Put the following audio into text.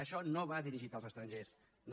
això no va dirigit als estrangers no